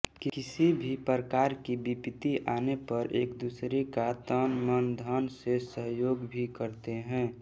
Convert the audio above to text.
किसी भी प्रकार की विपत्ति आने पर एकदूसरे का तनमनधन से सहयोग भी करते हैं